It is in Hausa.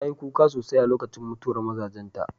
Ta yi kuka sosai a lokacin mutuwar mazajenta.